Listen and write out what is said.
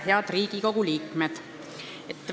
Head Riigikogu liikmed!